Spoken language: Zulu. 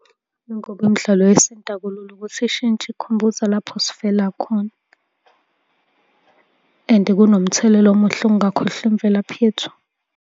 Ingoba imidlalo yesintu akulula ukuthi ishintshe, ikukhumbuze lapho esivela khona and kunomthelela omuhle ukungakhohlwa imvelaphi yethu.